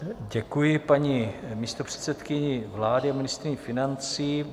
Děkuji paní místopředsedkyni vlády a ministryni financí.